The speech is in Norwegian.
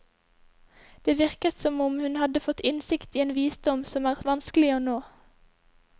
Det virket som om hun hadde fått innsikt i en visdom som er vanskelig å nå.